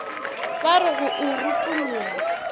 ba re go o rutolla